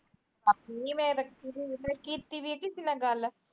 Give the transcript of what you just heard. ਨੀ ਮੈ ਤਾ ਕੀਤੀ ਬੀ ਕਿਸੇ ਨਾਲ ਗੱਲ